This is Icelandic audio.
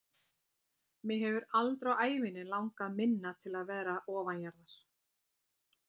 Mig hefur aldrei á ævinni langað minna til að vera ofanjarðar.